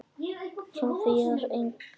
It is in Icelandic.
Soffía: Engin pizza.